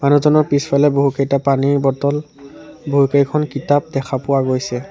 মানুহজনৰ পিছফালে বহুকেইটা পানীৰ বটল বহুকেইখন কিতাপ দেখা পোৱা গৈছে।